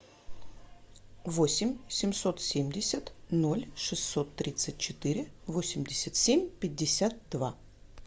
восемь семьсот семьдесят ноль шестьсот тридцать четыре восемьдесят семь пятьдесят два